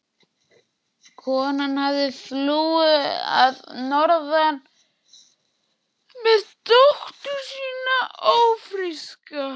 Konan hafði flúið að norðan með dóttur sína ófríska.